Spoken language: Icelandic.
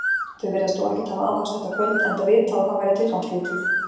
Þau virðast þó ekkert hafa aðhafst þetta kvöld, enda vitað, að það væri tilgangslítið.